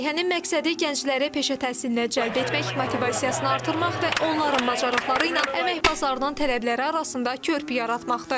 Layihənin məqsədi gəncləri peşə təhsilinə cəlb etmək, motivasiyasını artırmaq və onların bacarıqları ilə əmək bazarının tələbləri arasında körpü yaratmaqdır.